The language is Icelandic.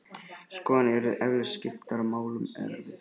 Skoðanir yrðu eflaust skiptar og málamiðlun erfið.